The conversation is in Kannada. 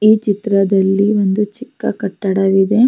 ಈ ಚಿತ್ರದಲ್ಲಿ ಒಂದು ಚಿಕ್ಕ ಕಟ್ಟಡವಿದೆ --